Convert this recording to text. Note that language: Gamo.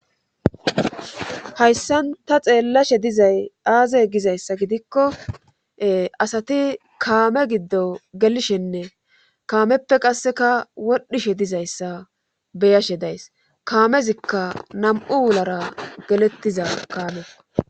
hayssan ta xeellashe dizay aaze gizayssa gidikko asati kaame giddo gelishenne kaameppe qasseka wodhishe dizayssa beyashe days kaamezikka nam7u wulara gelettiza kaame